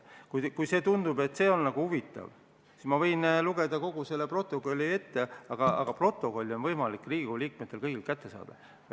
Kui tundub, et see on nagu huvitav, siis ma võin lugeda kogu selle protokolli ette, aga protokolli on võimalik kõigil Riigikogu liikmetel kätte saada.